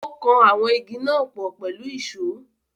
Ó kan àwọn Igi náà pọ̀ pẹ̀lú ìsó.